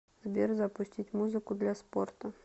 сбер запустить музыку для спорта